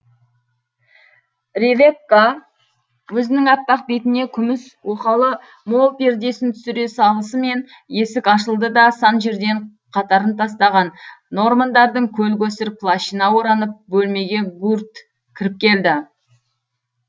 ревекка өзінің аппақ бетіне күміс оқалы мол пердесін түсіре салысымен есік ашылды да сан жерден қатарын тастаған нормандардың көл көсір плащына оранып бөлмеге гурт кіріп келді